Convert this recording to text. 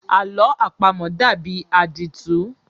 Àlọ́ àpamọ dàbí àdìtú.